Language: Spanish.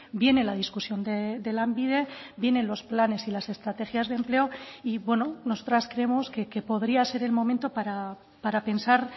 viene la discusión de lanbide vienen los planes y las estrategias de empleo y bueno nosotras creemos que podría ser el momento para pensar